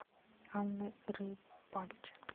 анны рыбальченко